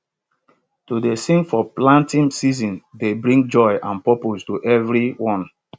to dey sing for planting season dey bring joy and purpose to everyone